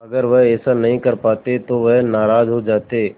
अगर वह ऐसा नहीं कर पाते तो वह नाराज़ हो जाते